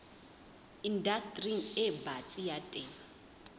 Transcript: indastering e batsi ya temo